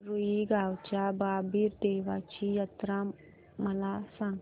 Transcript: रुई गावच्या बाबीर देवाची जत्रा मला सांग